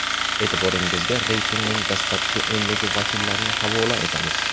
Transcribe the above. E’tiboringizga reytingning dastlabki o‘nligi vakillarini havola etamiz.